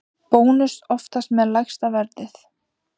Bónus oftast með lægsta verðið